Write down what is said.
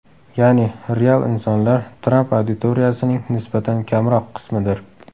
Ya’ni, real insonlar Tramp auditoriyasining nisbatan kamroq qismidir.